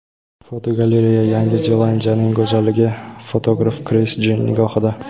Fotogalereya: Yangi Zelandiyaning go‘zalligi fotograf Kris Jin nigohida.